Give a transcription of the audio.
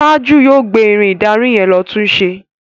Taju yóò gbé Irin ìdarí yen ló tunṣe.